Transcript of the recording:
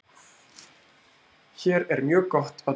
Hér er mjög gott að búa